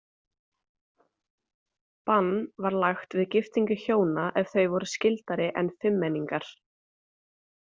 Bann var lagt við giftingu hjóna ef þau voru skyldari en fimmmenningar.